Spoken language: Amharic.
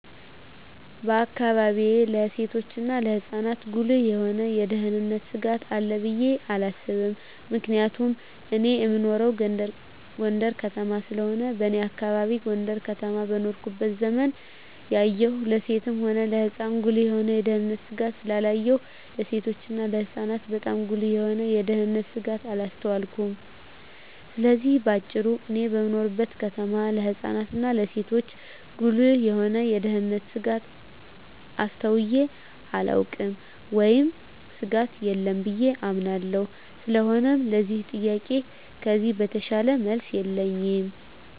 በአካባቢየ ለሴቶችና ለህጻናት ጉልህ የሆነ የደህንነት ስጋት አለ ብየ አላስብም ምክንያቱም እኔ እምኖረው ጎንደር ከተማ ስለሆነ በኔ አካባቢ ጎንደር ከተማ በኖርኩበት ዘመን ያየሁን ለሴትም ሆነ ለህጻን ጉልህ የሆነ የደህንነት ስጋት ስላላየሁ ለሴቶችና ለህጻናት ባጣም ጉልህ የሆነ የደንነት ስጋት አላስተዋልኩም ስለዚህ በአጭሩ እኔ በምኖርበት ከተማ ለህጻናት እና ለሴቶች ጉልህ የሆነ የደህንነት ስጋት አስተውየ አላውቅም ወይም ስጋት የለም ብየ አምናለሁ ስለሆነም ለዚህ ጥያቄ ከዚህ የተሻለ መልስ የለኝም።